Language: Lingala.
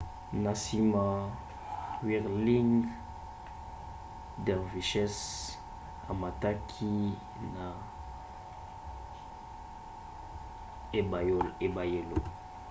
na nsima whirling dervishes amataki na ebayelo